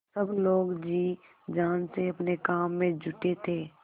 सब लोग जी जान से अपने काम में जुटे थे